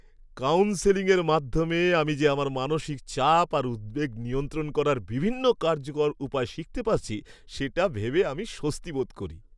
কাউন্সেলিংয়ের মাধ্যমে আমি যে আমার মানসিক চাপ আর উদ্বেগ নিয়ন্ত্রণ করার বিভিন্ন কার্যকর উপায় শিখতে পারছি, সেটা ভেবে আমি স্বস্তি বোধ করি।